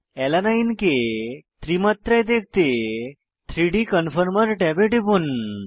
alanine কে ত্রি মাত্রায় দেখতে 3ডি কনফর্মের ট্যাবে টিপুন